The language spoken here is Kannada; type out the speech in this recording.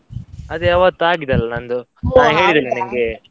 ಅದೇ ಅವತ್ತ್ ಆಗಿದೆ ಅಲ್ಲ ನಂದು, ನಿನ್ಗೆ?